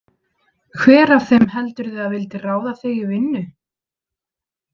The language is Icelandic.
Hver af þeim heldurðu að vildi ráða þig í vinnu?